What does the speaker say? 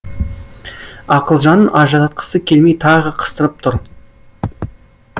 ақылжанын ажыратқысы келмей тағы қыстырып тұр